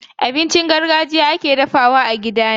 Abinci na gargajiya da ake dafawa a gida ana samu a wajen iya mai tuwo.